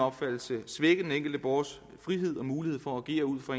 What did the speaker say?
opfattelse svække den enkelte borgers frihed og mulighed for at agere ud fra